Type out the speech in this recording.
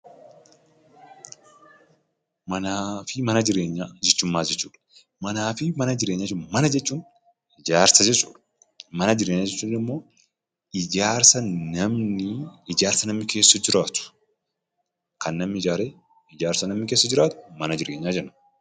Mana jechuun maal jechuudha? Mana jechuun ijaarsa jechuudha. Mana jireenyaa jechuun immoo ijaarsa namni keessa jiraatu, kan namni ijaare mana jireenyaa jenna.